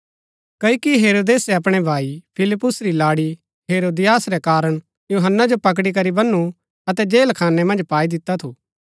ता हेरोदेस यूहन्‍ना जो मारणा ता चाहन्दा थु पर मणु थऊँ डरदा थु क्ओकि सो तैसिओ भविष्‍यवक्ता मन्दै थियै